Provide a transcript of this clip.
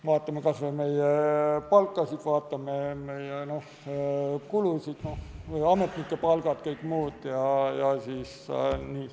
Vaatame kas või meie palkasid, vaatame meie kulusid, ametnike palku ja kõike muud.